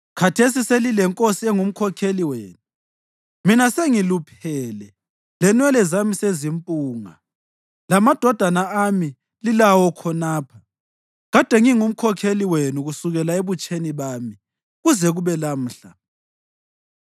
Khathesi selilenkosi engumkhokheli wenu. Mina sengiluphele lenwele sezimpunga, lamadodana ami lilawo khonapha. Kade ngingumkhokheli wenu kusukela ebutsheni bami kuze kube lamhla.